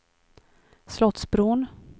Slottsbron